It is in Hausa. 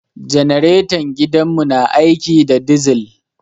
Janaretan gidan mu na aiki da dizil